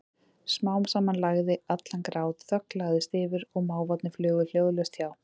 Smám saman lægði allan grát, þögn lagðist yfir og máfarnir flugu hljóðalaust hjá.